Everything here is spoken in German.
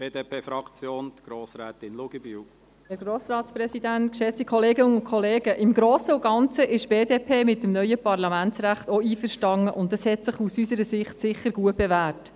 Im Grossen und Ganzen ist die BDP mit dem neuen Parlamentsrecht auch einverstanden, und es hat sich aus unserer Sicht sicher gut bewährt.